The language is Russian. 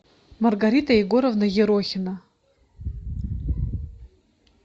маргарита егоровна ерохина